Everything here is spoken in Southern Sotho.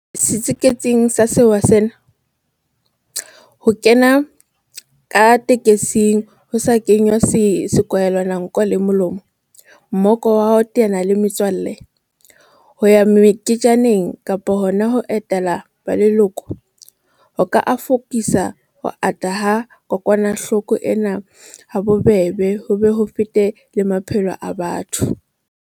Setsiketsing sa sewa sena, ho kena ka tekesing ho sa kenngwa sekwahelanko le molomo, mmoka wa ho teana le metswalle, ho ya meketjaneng kapa hona ho etela ba leloko, ho ka akofisa ho ata ha kokwanahloko ena habobebe ho be ho fete le maphelo a batho.